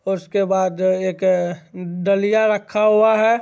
उसके बाद अ एक डलिया रखा हुआ है।